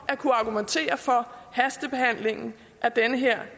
at kunne argumentere for hastebehandlingen af det her